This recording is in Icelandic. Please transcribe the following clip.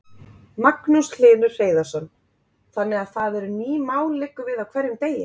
Magnús Hlynur Hreiðarsson: Þannig að það eru ný mál liggur við á hverjum degi?